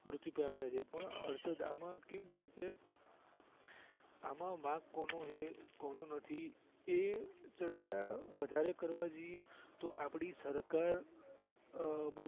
મૃત્યુ પામીયા છે પણ હર્ષદ આમાં કેવું છેકે આમાં વાંક કોનું છે કોનું નથી એ ચર્ચા વધારે કરવા જઈયે તો આપણી સરકાર